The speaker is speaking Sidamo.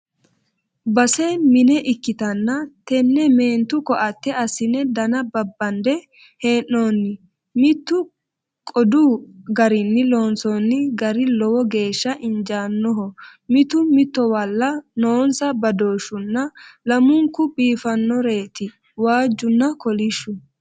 Base mine ikkittanna tene meentu koatte assine dana babbande hee'nenni mitu qodu garinni loonsonni gari lowo geeshsha injanoho mitto mittowalla noonsa badooshunna lamunku biifanoreti waajunna kolishshu.